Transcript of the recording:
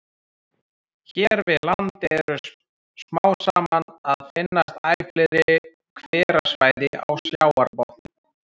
Hér við land eru smám saman að finnast æ fleiri hverasvæði á sjávarbotni.